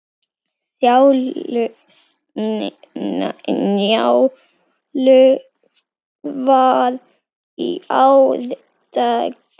Njálu var í árdaga.